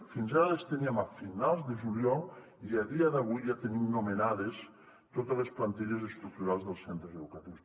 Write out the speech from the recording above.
fins ara les teníem a finals de juliol i a dia d’avui ja tenim nomenades totes les plantilles estructurals dels centres educatius